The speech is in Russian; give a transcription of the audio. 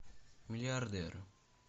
миллиардер